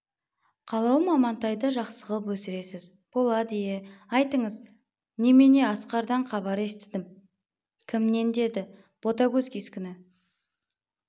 қалауым амантайды жақсы ғып өсіресіз болады ие айтыңыз немене асқардан хабар естідім кімнен деді ботагөз кескіні